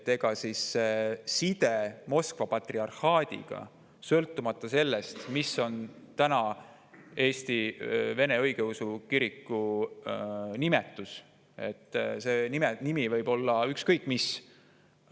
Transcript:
Ega siis side Moskva patriarhaadiga ei sõltu sellest, mis on Eesti vene õigeusu kiriku nimetus, see nimetus võib olla ükskõik mis.